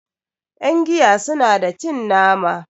yangiya suna da cin nama